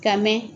Ka mɛn